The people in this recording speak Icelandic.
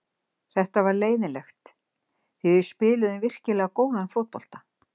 Þetta var leiðinlegt því við spiluðum virkilega góðan fótbolta.